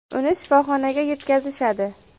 Uni shifoxonaga yetkazishadi.